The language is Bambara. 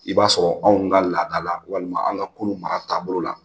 I b'a sɔrɔ anw ka laada la walima an ka kunun mara taabolo la